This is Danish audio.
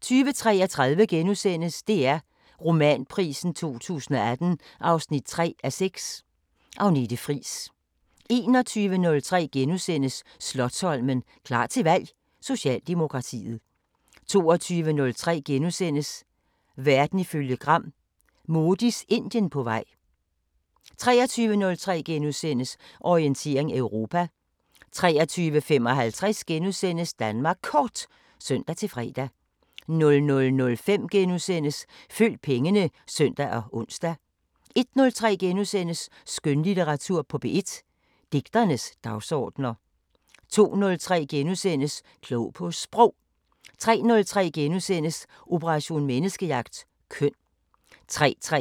20:33: DR Romanprisen 2018 3:6 – Agnete Friis * 21:03: Slotsholmen – klar til valg: Socialdemokratiet * 22:03: Verden ifølge Gram: Modis Indien på vej * 23:03: Orientering Europa * 23:55: Danmark Kort *(søn-fre) 00:05: Følg pengene *(søn og ons) 01:03: Skønlitteratur på P1: Digternes dagsordener * 02:03: Klog på Sprog * 03:03: Operation Menneskejagt: Køn * 03:33: Elsker